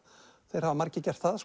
þeir hafa margir gert það